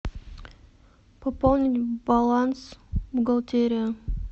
пополнить баланс бухгалтерия